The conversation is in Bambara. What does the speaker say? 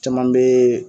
Caman bɛ